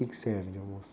O quê que servem de almoço?